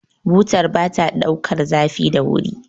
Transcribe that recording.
butar ba ta daukar zafi da wuri